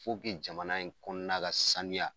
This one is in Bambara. jamana in kɔnɔna ka sanuya